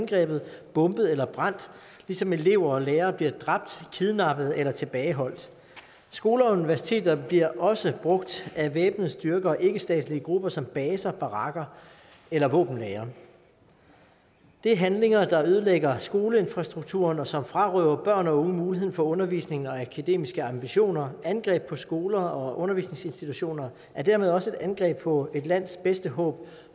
angrebet bombet eller brændt ligesom elever og lærere bliver dræbt kidnappet eller tilbageholdt skoler og universiteter bliver også brugt af væbnede styrker og ikkestatslige grupper som baser barakker eller våbenlagre det er handlinger der ødelægger skoleinfrastrukturen og som frarøver børn og unge muligheden for undervisning og akademiske ambitioner angreb på skoler og undervisningsinstitutioner er dermed også et angreb på et lands bedste håb